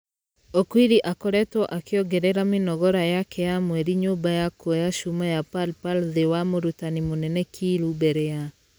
Okwiri akoretwo akĩongerera mĩnogora yake ya mwerĩ nyumba ya kuoya cuma ya pal pal thĩ wa mũrutani mũnene kiilu mbere ya .......